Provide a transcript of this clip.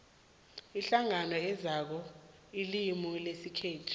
iinhlangano ezakha ilimu lesikhethu